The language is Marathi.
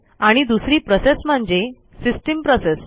आणि दुसरी प्रोसेस म्हणजे सिस्टीम प्रोसेस